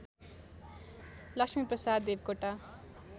Laxmiprasad Devkota